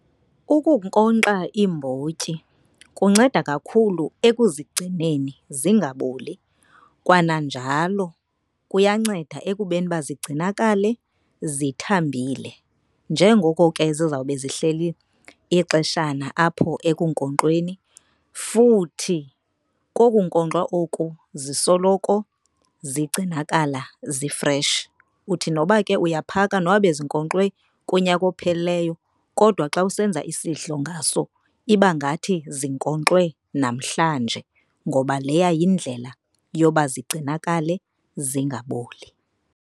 Ukunkonkxa iimbotyi kunceda kakhulu ekuzigcineni zingaboli. Kwananjalo kuyanceda ekubeni uba zigcinakale zithambile njengoko ke zizawube zihleli ixeshana apho ekunkonkxweni. Futhi koku nkonkxwa oku zisoloko zigcinakala zifreshi. Uthi noba ke uyaphaka noba bezinkonkxwe kunyaka ophelileyo, kodwa xa usenza isidlo ngaso iba ngathi zinkonkxwe namhlanje. Ngoba leya yindlela yoba zigcinakale zingaboli.